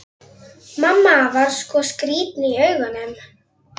Og hvað flögrar þá að mér?